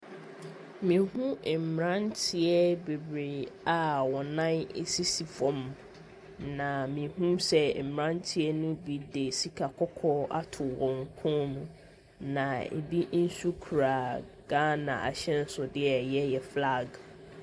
Me hu mmeranteɛ bebree a ɔmo nan sisi fɛm na me hu sɛ mmeranteɛ no bi de sika kɔkɔɔ ato wɔn kɔn mu na ebi nso kura gaana ahyɛnso deɛ a ɛyɛ yɛ flaag.